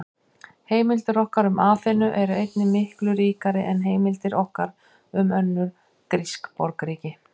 Heimildir okkar um Aþenu eru einnig miklu ríkari en heimildir okkar um önnur grísk borgríki.